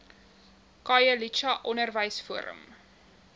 khayelitsha onderwys forum